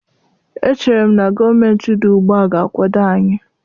Echere m na gọọmentị dị ugbu a ga-akwado anyị